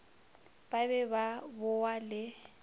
ba be ba bowa le